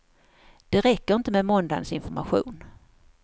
Det räcker inte med måndagens information.